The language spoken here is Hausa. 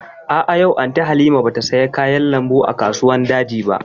A'a, yau Anty Halima ba ta saya kayan lambu a kasuwan daji ba